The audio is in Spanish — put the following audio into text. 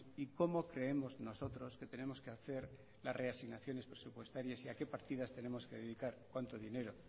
y cómo creemos nosotros que tenemos que hacer las reasignaciones presupuestarias y a qué partidas tenemos que dedicar cuánto dinero